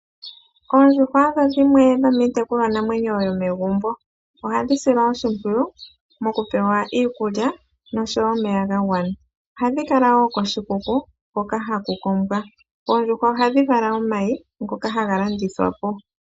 Oondjuhwa odho dhimwe dhomiitekulwanamwenyo yomegumbo. Ohadhi silwa oshimpwiyu mokupewa iikulya nosho wo omeya ga gwana. Ohadhi kala wo koshikuku hoka haku kombwa. Oondjuhwa ohadhi vala omayi ngoka haga landithwa po.